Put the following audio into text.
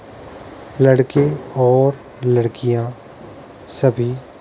लड़के और लड़कियाँ सभी --